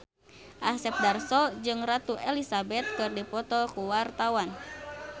Asep Darso jeung Ratu Elizabeth keur dipoto ku wartawan